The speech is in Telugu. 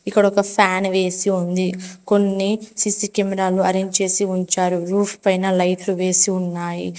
ఇక్కడొక ఫ్యాన్ వేసి ఉంది కొన్ని సీసీ కెమెరాలు అరేంజ్ చేసి ఉంచారు రూఫ్ పైన లైట్లు వేసి ఉన్నాయి.